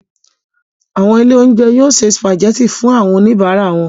Àwọn ilé-oúnjẹ yóò se sìpàgẹ́tì fún àwọn oníbàárà wọn.